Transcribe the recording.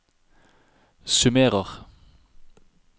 summerer